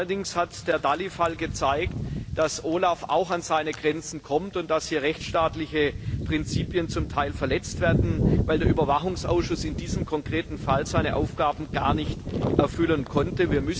Allerdings hat der Fall Dalli gezeigt, dass auch OLAF an seine Grenzen stößt und dass hier rechtsstaatliche Prinzipien zum Teil verletzt werden, weil der Überwachungsausschuss in diesem konkreten Fall seine Aufgaben gar nicht erfüllen konnte.